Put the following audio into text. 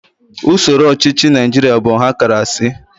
Usoro ọchịchị Naijiria bụ ọhakarasị